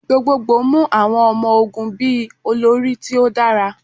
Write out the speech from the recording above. Gbogbogbo mu awọn ọmọ-ogun bi olori ti o dara